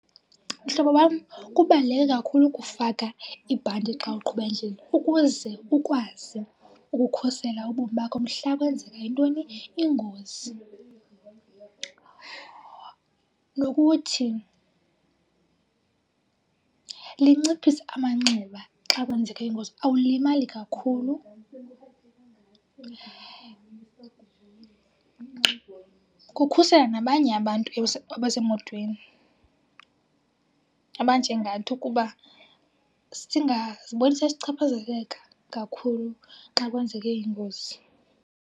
Mhlobo wam, kubaluleke kakhulu ukufaka ibhanti xa uqhuba endleleni ukuze ukwazi ukukhusela ubomi bakho. Mhla kwenzeka intoni? Ingozi, nokuthi linciphisa amanxeba xa kwenzeke ingozi, awulimali kakhulu. Kukhusela nabanye abantu abasemotweni abanjengathi ukuba singaziboni sesichaphazeleka kakhulu xa kwenzeke ingozi.